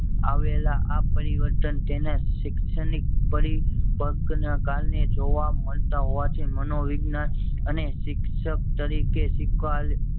આવેલા આ પરિવર્તન તેને શિક્ષણ ની પરી પકન કાલ ને જોવા માલતા હોવા થી મનોવિજ્ઞાન અને શિક્ષક તરીકે શીખવાલ